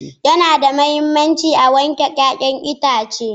Yana da mahimmanci a wanke 'ya'yan itace